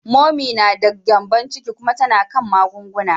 Momi ta da gyembon ciki kuma tana kan magunguna.